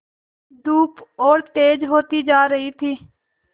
धूप और तेज होती जा रही थी